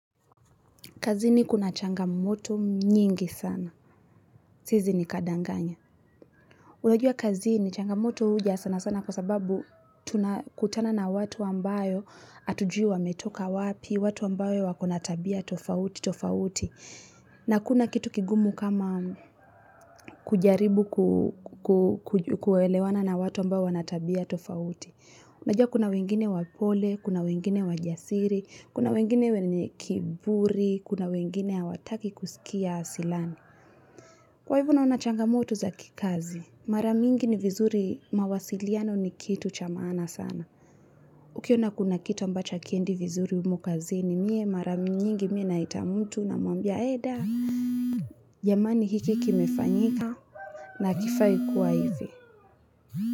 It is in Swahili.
Kazini kuna changamoto nyingi sana. Siezi nikadanganya. Unajua kazini changamoto huja sana sana kwa sababu tunakutana na watu ambayo hatujui wametoka wapi, watu ambayo wako na tabia tofauti, tofauti. Na hakuna kitu kigumu kama kujaribu kuelewana na watu ambao wana tabia tofauti. Najua kuna wengine wapole, kuna wengine wajasiri, kuna wengine wenye kiburi, kuna wengine hawataki kusikia asilani. Kwa hivyo naona changamoto za kikazi, mara mingi ni vizuri mawasiliano ni kitu cha maana sana. Ukiona kuna kitu ambacha hakiendi vizuri humu kazini, mie mara mingi nyingi mi naita mtu namwambia eda. Jamani hiki kimefanyika na hakifai kuwa hivi.